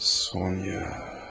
Sonya.